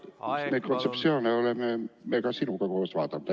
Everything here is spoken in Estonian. Seda kontseptsiooni me oleme sinuga koos arutanud.